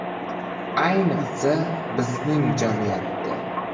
Ayniqsa, bizning jamiyatda.